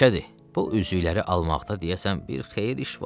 Məşədi, bu üzükləri almaqda deyəsən bir xeyir iş var.